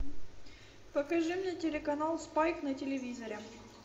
покажи мне телеканал спайк на телевизоре